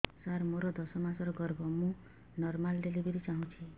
ସାର ମୋର ଦଶ ମାସ ଗର୍ଭ ମୁ ନର୍ମାଲ ଡେଲିଭରୀ ଚାହୁଁଛି